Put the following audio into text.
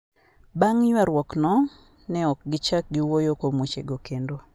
Bang' ywaruokno, ne ok gichak giwuo kuom wechego kendo".